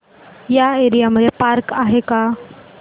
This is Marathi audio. या एरिया मध्ये पार्क आहे का